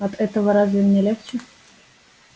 от этого разве мне легче